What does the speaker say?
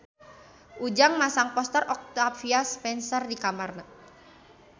Ujang masang poster Octavia Spencer di kamarna